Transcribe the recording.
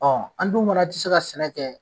Ɔ an dun fana ti se ka sɛnɛ kɛ